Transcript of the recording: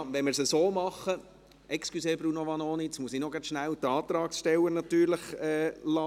Wenn wir es so machen … Entschuldigung, Bruno Vanoni, jetzt muss ich natürlich zuerst noch schnell die Antragsteller sprechen lassen.